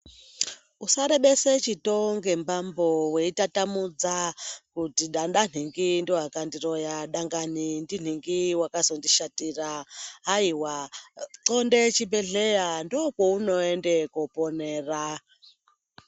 Usarebese chitoo ngembambo weitatamudza, kuti danga nhingi ndiwo akandiroya, dangani ndinhingi wakazondishatira. Haiwa, xonde chibhedhleya, ndokwaunoende koponera.